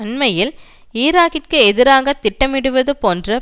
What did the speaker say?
அண்மையில் ஈராக்கிற்கு எதிராக திட்டமிடுவது போன்று